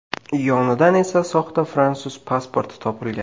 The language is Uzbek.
Yonidan esa soxta fransuz pasporti topilgan.